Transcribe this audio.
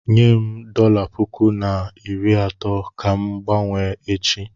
Nyem dọla puku na iri atọ ka m ga-gbanwee echi.